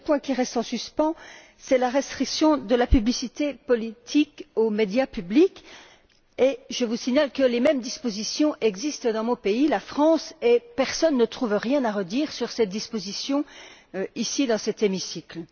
Le seul point qui reste en suspens, c'est la restriction de la publicité politique aux médias publics, et je vous signale que les mêmes dispositions existent dans mon pays, la France, et que personne ne trouve rien à redire à ces dispositions, ici, dans cet hémicycle.